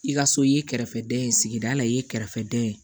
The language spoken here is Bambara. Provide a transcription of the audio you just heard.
I ka so i ye kɛrɛfɛdɛn ye sigida la i ye kɛrɛfɛ da ye